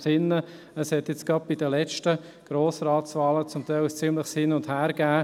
Sie erinnern sich, dass es gerade bei den letzten Grossratswahlen ein ziemliches Hin und Her gab.